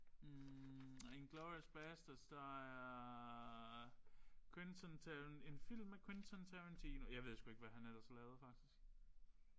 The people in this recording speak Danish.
Hm inglorious bastards der er Quentin en film med Quentin Tarantino jeg ved ikke hvad han ellers har lavet faktisk